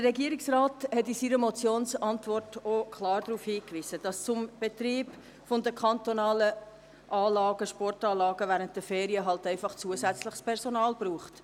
Der Regierungsrat hat aber in seiner Motionsantwort auch klar darauf hingewiesen, dass es für den Betrieb der kantonalen Sportanlagen während der Ferien halt einfach zusätzliches Personal braucht.